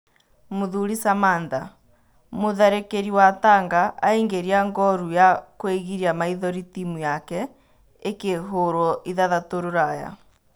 Mũthuri Samantha: Mũtharĩkĩri wa Tanga aingĩria ngũru ya kũĩgiria maithori timu yake ĩkĩhũrwo ithathatũ Rũraya.